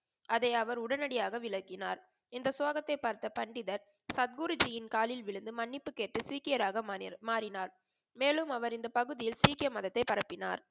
அதை அவர் உடனடியாக விளங்கினார். இந்த ஸ்லோகத்தை பார்த்த பண்டிதர் சத் குருஜியின் காலில் விழுந்து மன்னிப்பு கேட்டு சீக்கியராக மாறினார். மேலும் அவர் இந்த பகுதியில் சீக்கிய மதத்தை பரப்பினார்.